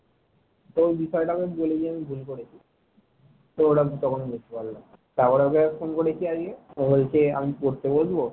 তারপর আর একবার phone করেছি আমি ওকে তো বলছে আমি পড়তে বসবো।